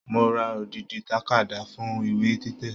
Mo ra odidi takada fún ìwé títẹ̀.